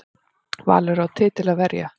Valur á titil að verja